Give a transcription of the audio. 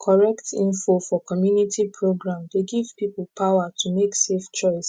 correct info for community program dey give people power to make safe choice